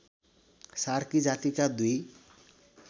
सार्की जातिका दुई